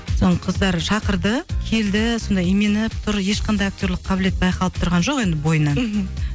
қыздар шақырды келді сонда именіп тұр ешқандай актерлік қабілет байқалып тұрған жоқ енді бойынан мхм